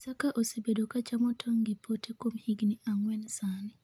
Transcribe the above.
Isaka osebedo ka chamo tong' gi pote kuom higni ang'wen sani